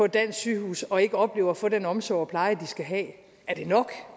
dansk sygehus og ikke oplever at få den omsorg og pleje de skal have er det nok